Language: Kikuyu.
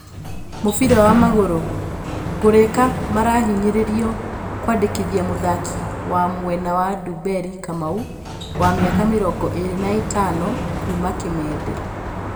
(Mũbira wa magũrũ) Ngũrĩka marahinyĩrĩrio kwandĩkithia mũthaki wa mwena wa Ndumberi Kamau, wa mĩaka mĩrongo ĩrĩ na ĩtano, kuma Kimende.